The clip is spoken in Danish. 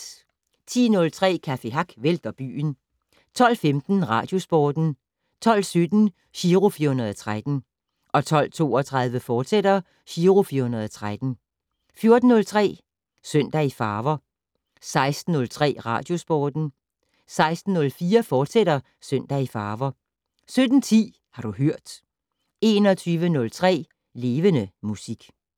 10:03: Café Hack vælter byen 12:15: Radiosporten 12:17: Giro 413 12:32: Giro 413, fortsat 14:03: Søndag i farver 16:03: Radiosporten 16:04: Søndag i farver, fortsat 17:10: Har du hørt 21:03: Levende Musik